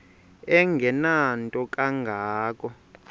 engenanto kanga ko